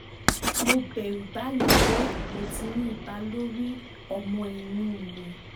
mo bẹ̀rù báyìí pé ó ti ní ipa lórí ọmọ inú mi